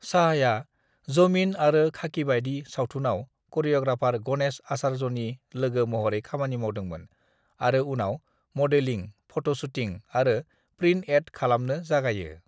"शाहआ जमीन आरो खाकीबादि सावथुनआव करिय'ग्राफार गणेश आचार्यनि लोगो महरै खामानि मावदोंमोन आरो उनाव मडेलिं, फट' शुटिं आरो प्रिन्ट एड खालामनो जागायो।"